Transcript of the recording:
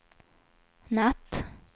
natt